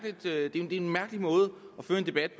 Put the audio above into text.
det er en mærkelig måde at føre en debat